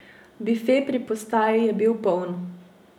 Bife pri postaji je bil poln.